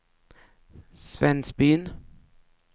Svensbyn